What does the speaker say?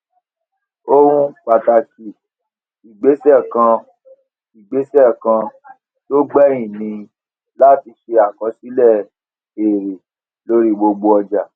ohun pàtàkì ìgbésè kan ìgbésè kan tó gbèyìn ni láti ṣe àkọsílè èrè lórí gbogbo ọjà